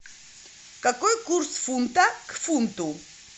какой курс фунта к фунту